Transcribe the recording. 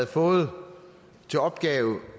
fået til opgave